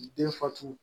Den fatu